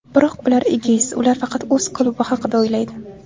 Biroq ular egoist, ular faqat o‘z klubi haqida o‘ylaydi.